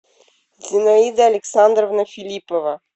зинаида александровна филиппова